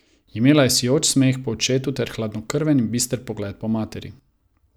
Imela je sijoč smeh po očetu ter hladnokrven in bister pogled po materi.